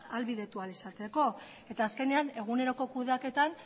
ahalbidetu ahal izateko eta azkenean eguneroko kudeaketan